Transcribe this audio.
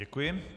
Děkuji.